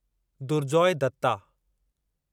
Durjoy Dutta